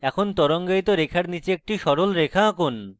এখন তরঙ্গায়িত রেখার নীচে একটি সরল রেখা আঁকুন